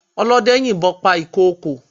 Ọlọ́dẹ yìnbọn pa ìkokò.